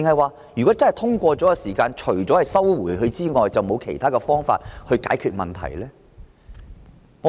還是如果修訂獲通過，政府除了撤回《條例草案》，便沒有其他方法解決問題呢？